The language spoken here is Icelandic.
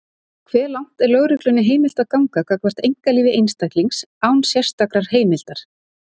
Hve langt er lögreglunni heimilt að ganga gagnvart einkalífi einstaklings, án sérstakrar heimildar?